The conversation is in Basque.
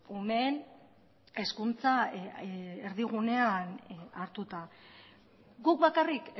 umeen hezkuntza erdigunean hartuta guk bakarrik